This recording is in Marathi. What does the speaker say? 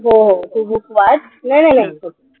हम्म तू book वाच. नाई नाई नाई.